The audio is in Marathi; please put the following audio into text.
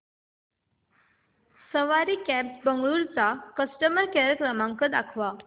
सवारी कॅब्झ बंगळुरू चा कस्टमर केअर क्रमांक दाखवा